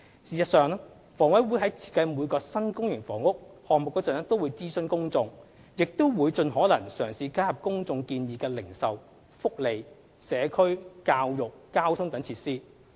事實上，房委會在設計每個新公營房屋項目時都會諮詢公眾，亦會盡可能嘗試加入公眾建議的零售、福利、社區、教育、交通等設施。